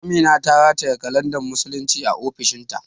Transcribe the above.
Amina ta rataye kalandar musulunci a ofishin ta